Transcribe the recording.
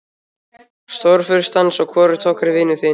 Stórfurstans og hvorugt okkar er vinur þinn.